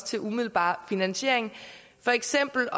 til umiddelbar finansiering for eksempel